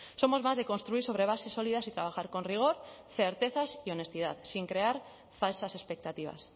somos más de construir sobre bases sólidas y trabajar con rigor certezas y honestidad sin crear falsas expectativas